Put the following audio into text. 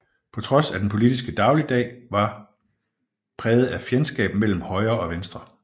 På trods af at den politiske dagligdag var præget af fjendskab mellem Højre og Venstre